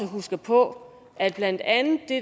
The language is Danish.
husker på at blandt andet det